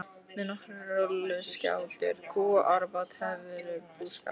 Með nokkrar rolluskjátur, kú og árabát hefurðu búskap.